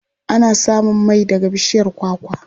Ana samun mai daga bishiyar kwakwa.